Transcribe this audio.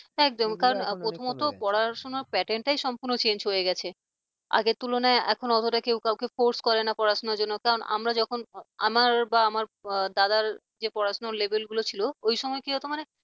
একদম কারণ প্রথমত পড়াশোনার pattern টাই সম্পূর্ণ change হয়ে গেছে আগে তুলনায় এখন অতটা কেউ কাউকে force করে না পড়াশোনার জন্য কারণ আমরা যখন আমার বা আমার দাদার যে পড়াশোনা level লো ছিল ওই সময় কি হত মানে